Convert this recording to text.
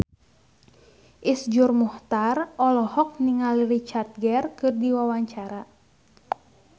Iszur Muchtar olohok ningali Richard Gere keur diwawancara